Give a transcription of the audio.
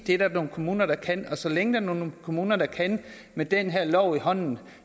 det er der nogle kommuner der kan og så længe der er nogle kommuner der kan med den her lov i hånden